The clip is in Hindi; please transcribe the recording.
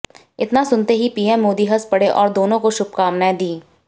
इतना सुनते ही पीएम मोदी हंस पड़े और दोनों को शुभकामनाएं दीं